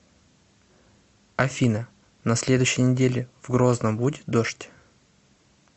афина на следующей неделе в грозном будет дождь